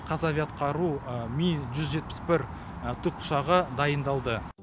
қазавиаатқару ми жүз жетпіс бір тікұшағы дайындалды